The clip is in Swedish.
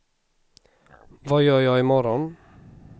vad gör jag imorgon